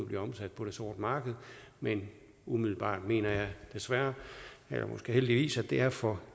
bliver omsat på det sorte marked men umiddelbart mener jeg desværre og måske heldigvis at det er for